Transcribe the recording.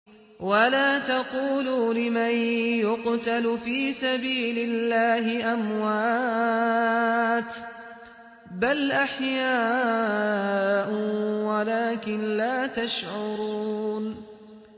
وَلَا تَقُولُوا لِمَن يُقْتَلُ فِي سَبِيلِ اللَّهِ أَمْوَاتٌ ۚ بَلْ أَحْيَاءٌ وَلَٰكِن لَّا تَشْعُرُونَ